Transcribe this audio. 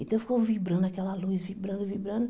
Então ficou vibrando aquela luz, vibrando, vibrando.